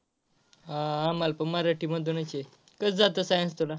हा आम्हाला पण मराठीमधूनच आहे. कसं जात science तुला?